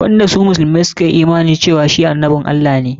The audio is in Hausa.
Wanda su musulmai suka yi imani cewa shi annabin Allah ne.